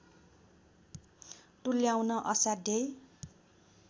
तुल्याउन असाध्यै